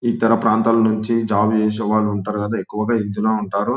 ఇతర ప్రాంతాల నుంచి జాబ్ చేసే వాళ్ళు ఉంటారు కదా ఎక్కువగా ఇందులో ఉంటారు --